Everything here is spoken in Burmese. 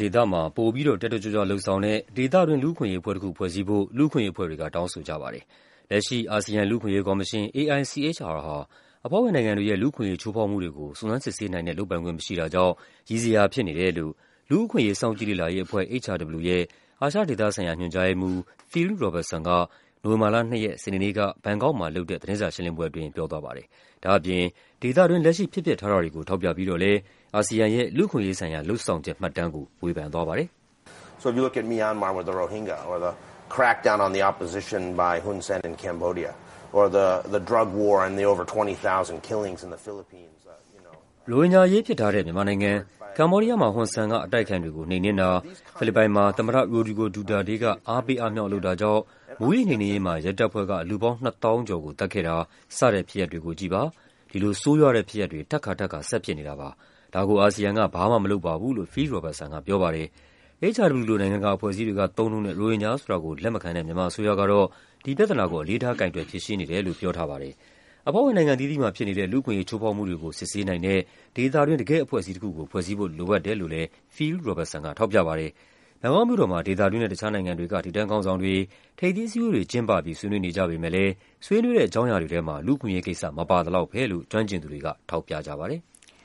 ဒေသ (ASEAN) မှာ ပိုပြီးတော့ တက်တက်ကြွကြွလုပ်ဆောင်တဲ့ ဒေသတွင်း လူ့အခွင့်အရေးအဖွဲ့တခု ဖွဲ့စည်းဖို့ လူ့အခွင့်အရေးအဖွဲ့တွေက တောင်းဆိုကြပါတယ်။ လက်ရှိ အာဆီယံလူ့အခွင့်အရေးကော်မရှင် (AICHR) ဟာ အဖွဲ့ဝင်နိုင်ငံတွေရဲ့ လူ့အခွင့် အရေး ချိုးဖောက်မှုတွေကို စုံစမ်းစစ်ဆေးနိုင်တဲ့ လုပ်ပိုင်ခွင့် မရှိတာကြောင့် ရယ်စရာဖြစ်နေတယ်လို့ လူ့အခွင့်အရေး စောင့်ကြည့်လေ့လာရေးအဖွဲ့ (HRW) ရဲ့ အာရှဒေသဆိုင်ရာ ညွှန်ကြားရေးမှူး Phil Robertson က နိုဝင်ဘာလ ၂ ရက်၊ စနေနေ့က ဘန်ကောက်မှာ လုပ်တဲ့ သတင်းစာရှင်းလင်းပွဲအတွင်း ပြောသွားပါတယ်။ ဒါ့အပြင် ဒေသတွင်း လက်ရှိဖြစ်ပျက်ထားတာတွေကို ထောက်ပြပြီးတော့လည်း အာဆီယံ ရဲ့ လူ့အခွင့်အရေးဆိုင်ရာ လုပ်ဆောင်ချက်မှတ်တမ်းကို ဝေဖန်သွားပါတယ်။ “ရိုဟင်ဂျာအရေးဖြစ်ထားတဲ့ မြန်မာနိုင်ငံ၊ ကမ္ဘောဒီးယားမှာ ဟွန်ဆန်က အတိုက်အခံတွေကို နှိမ်နင်းတာ၊ ဖိလစ်ပိုင်မှာ သမ္မတ Rodrigo Duterte က အားပေးအားမြှောက်လုပ်တာကြောင့် မူးယစ်နှိမ်နင်းရေးမှာ ရဲတပ်ဖွဲ့က လူပေါင်း ၂၀,၀၀၀ ကျော်ကို သတ်ခဲ့တာ စတဲ့ ဖြစ်ရပ်တွေကို ကြည့်ပါ။ ဒီလို ဆိုးရွားတဲ့ဖြစ်ရပ်တွေ ထပ်ခါထပ်ခါ ဆက်ဖြစ်နေတာပါ။ ဒါကို အာဆီယံက ဘာမှ မလုပ်ပါဘူး” လို့ Phil Robertson က ပြောပါတယ်။ HRW လို နိုင်ငံတကာ အဖွဲ့အစည်းတွေက သုံးနှုန်းတဲ့ ရိုဟင်ဂျာဆိုတာကို လက်မခံတဲ့ မြန်မာအစိုးရကတော့ ဒီပြဿနာကို အလေးထား ကိုင်တွယ်ဖြေရှင်းနေတယ်လို့ ပြောထားပါတယ်။ အဖွဲ့ဝင်နိုင်ငံအသီးသီးမှာ ဖြစ်နေတဲ့ လူ့အခွင့်အရေး ချိုးဖောက်မှုတွေကို စစ်ဆေးနိုင်တဲ့ ဒေသတွင်း တကယ့်အဖွဲ့အစည်းတခုကို ဖွဲ့စည်းဖို့ လိုအပ်တယ်လို့လည်း Phil Robertson က ထောက်ပြပါတယ်။ ဘန်ကောက်မြို့တော်မှာ ဒေသတွင်းနဲ့ တခြားနိုင်ငံတွေက ထိပ်တန်းခေါင်းဆောင်တွေ ထိပ်သီးအစည်းအဝေးတွေ ကျင်းပပြီး ဆွေးနွေးနေကြပေမယ့်လည်း ဆွေးနွေးတဲ့ အကြောင်းအရာတွေထဲမှာ လူ့အခွင့်အရေးကိစ္စ မပါသလောက်ဘဲလို့ ကျွမ်းကျင်သူတွေက ထောက်ပြကြပါတယ်။